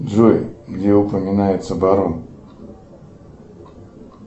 джой где упоминается барон